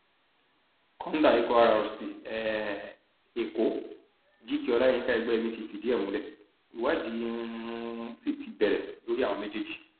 kọńdà ikọ rrc um èkó gk olayinka egbẹyẹmí ti fìdí ẹ múlẹ ìwádìí um sí ti bẹrẹ lórí àwọn méjèèjì